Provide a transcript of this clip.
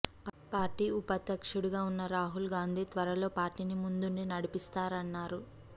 party ఉపాధ్యక్షుడిగా ఉన్న రాహుల్ గాంధీ త్వరలో పార్టీని ముందుండి నడిపిస్తారన్నారు